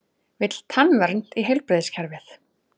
Vill tannvernd í heilbrigðiskerfið